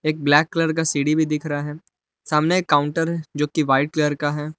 एक black colour का सीढ़ी भी दिख रहा है सामने एक काउंटर है जो कि वाइट कलर का है।